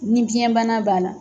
Ni biyɛnbana b'a la.